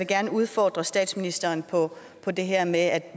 gerne udfordre statsministeren på det her med at